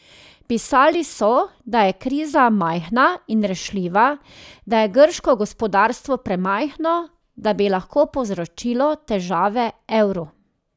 Pisali so, da je kriza majhna in rešljiva, da je grško gospodarstvo premajhno, da bi lahko povzročilo težave evru.